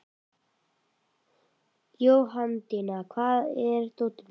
Jóhanndína, hvar er dótið mitt?